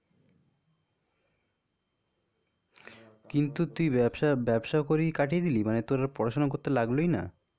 কিন্তু তুই ব্যবসা ব্যবসা করেই কাটিয়ে দিলে? মানে তোর পড়াশোনা করতে লাগলোই না?